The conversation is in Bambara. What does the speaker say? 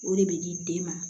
O de bɛ di den ma